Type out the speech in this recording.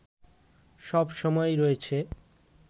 সব সময়ই রয়েছে